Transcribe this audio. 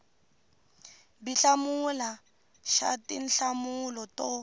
b hlamula xa tinhlamulo to